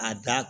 A da